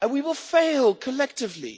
And we will fail collectively.